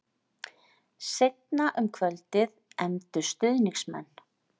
Seinna um kvöldið efndu stuðningsmenn